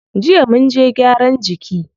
Jiya munje gyaran jiki.